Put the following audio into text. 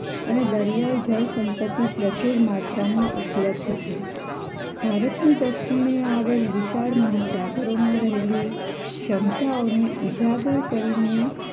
અને દરિયાઈ જળ સંપતિ પ્રચુલ માત્રામાં ઉપલબ્ધ છે ભારતની દક્ષિણે આવેલ વિશાળ મહાસાગરોમાં રહેલી ક્ષમતાઓને ઉજાગર કરીને